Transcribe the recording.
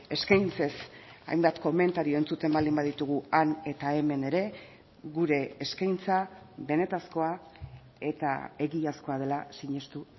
eskaintzez hainbat komentario entzuten baldin baditugu han eta hemen ere gure eskaintza benetakoa eta egiazkoa dela sinestu